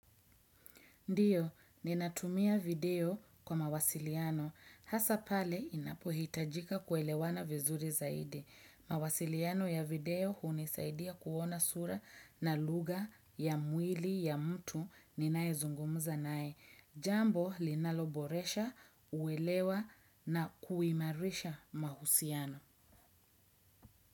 Ndiyo, ninatumia video kwa mawasiliano. Hasa pale, inapohitajika kuelewana vizuri zaidi. Mawasiliano ya video hunisaidia kuona sura na lugha ya mwili ya mtu ninayezungumza naye. Jambo, linaloboresha, uwelewa na kuimarisha mahusiano.